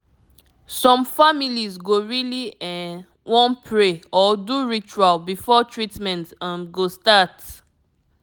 some families go really um wan pray or do ritual before treatment um go start